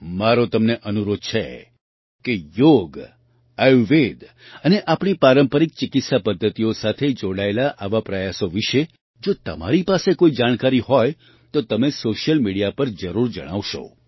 મારો તમને અનુરોધ છે કે યોગ આયુર્વેદ અને આપણી પારંપરિક ચિકિત્સા પદ્ધતિઓ સાથે જોડાયેલા આવા પ્રયાસો વિશે જો તમારી પાસે કોઈ જાણકારી હોય તો તમે સૉશિયલ મિડિયા પર જરૂર જણાવશો